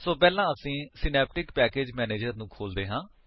ਸੋ ਪਹਿਲਾਂ ਅਸੀਂ Synaptic package manager ਨੂੰ ਖੋਲ੍ਹਦੇ ਹਨ